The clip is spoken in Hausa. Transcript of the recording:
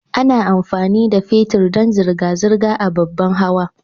Ana amfani da fetir dan zirga-zirgar ababan hawa.